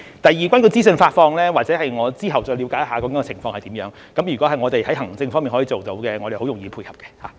第二，有關資訊發放，我之後再了解情況為何，如果我們可以在行政方面做到，我們是容易配合的。